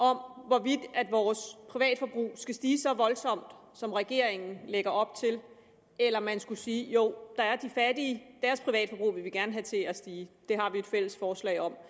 hvorvidt vores privatforbrug skal stige så voldsomt som regeringen lægger op til eller om man skulle sige at jo der er de fattige og vil vi gerne have til at stige det har vi et fælles forslag om